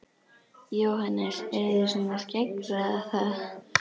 Jóhannes: Eruð þið svona að skeggræða það?